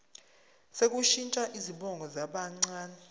sokushintsha izibongo zabancane